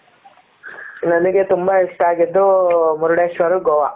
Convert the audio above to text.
ನನಗೆ ತುಂಬಾ ಇಷ್ಟ ಆಗಿದ್ದು ಮುರುಡೇಶ್ವರ ಗೋವಾ.